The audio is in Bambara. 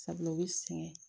Sabula u bɛ sɛgɛn